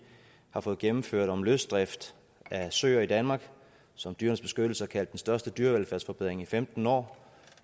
har fået gennemført om løsdrift af søer i danmark som dyrenes beskyttelse har kaldt den største dyrevelfærdsforbedring i femten år og